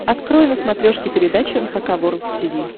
открой на смотрешке передачу эн эйч кей волд ти ви